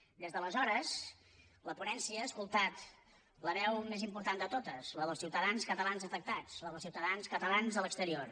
des d’aleshores la ponència ha escoltat la veu més important de totes la dels ciutadans catalans afectats la dels ciutadans catalans a l’exterior